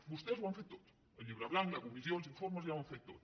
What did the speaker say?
vostès ho han fet tot el llibre blanc la comissió els informes ja ho han fet tot